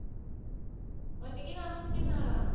ഒറ്റയ്ക്ക് താമസിക്കുന്ന ആളാണോ?